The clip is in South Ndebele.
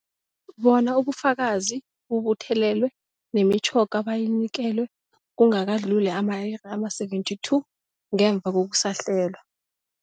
Bona ubufakazi bubuthelelwe, nemitjhoga bayinikelwe kungakadluli ama-iri ama-72 ngemva kokusahlelwa.